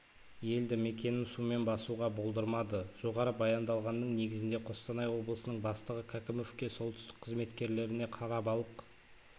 елді мекенін сумен басуға болдырмады жоғары баяндалғанның негізінде қостанай облысының бастығы кәкімовке солтүстік қызметкерлеріне қарабалық